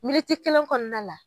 Militi kelen kɔnɔna la